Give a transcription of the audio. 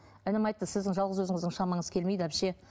інім айтты сіздің жалғыз өзіңіздің шамаңыз келмейді әпше